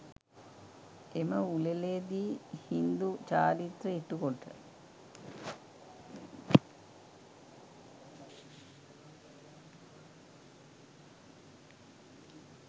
එම උලෙළේ දී හින්දු චාරිත්‍ර ඉටු කොට